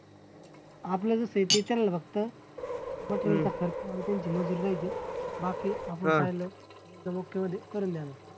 फक्त त्यांची मजुरी द्यायची बाकी एकदम okay मध्ये करून द्यायचं.